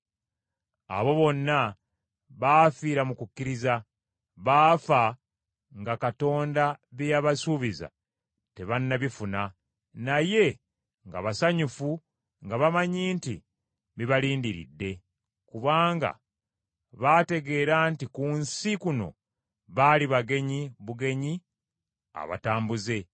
Abo bonna baafiira mu kukkiriza. Baafa nga Katonda bye yabasuubiza tebannabifuna, naye nga basanyufu nga bamanyi nti bibalindiridde, kubanga baategeera nti ku nsi kuno baali bagenyi bugenyi abatambuze.